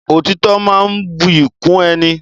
Òtítọ́ máa ń buyì kún ẹni.